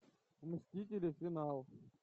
мстители финал